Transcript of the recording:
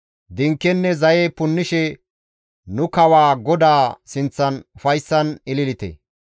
Dinkenne zaye punnishe nu kawaa GODAA sinththan ufayssan ililite.